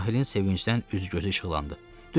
Rahilin sevinçdən üz-gözü işıqlandı, düz sözümdür.